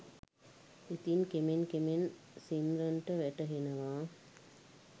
ඉතින් කෙමෙන් කෙමෙන් සිම්රන්ට වැටහෙනවා